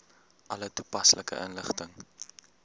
alle toepaslike inligting